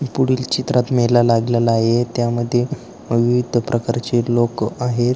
पुढील चित्रात मेला लागलेला आहे त्यामध्ये विविध प्रकारची लोक आहेत.